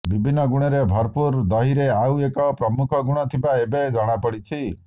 ବିଭିନ୍ନ ଗୁଣରେ ଭରପୁର ଦହିରେ ଆଉ ଏକ ପ୍ରମୁଖ ଗୁଣ ଥିବା ଏବେ ଜଣାପଡିଛି